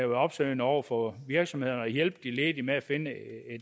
opsøgende over for virksomhederne og hjælpe de ledige med at finde et